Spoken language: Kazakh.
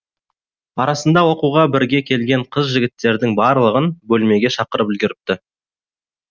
арасында оқуға бірге келген қыз жігіттердің барлығын бөлмеге шақырып үлгеріпті